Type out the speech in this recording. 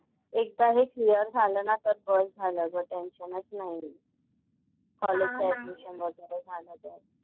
एकदा हे क्लिअर झालं ना तर बस झालं ग टेन्शनच नाही. कॉलेजचं ऍडमिशन वगैरे झालं तर.